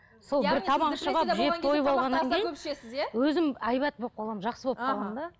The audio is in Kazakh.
сол бір тамақ ішіп алып жеп тойып алғаннан кейін өзім әйбат болып қаламын жақсы болып қаламын да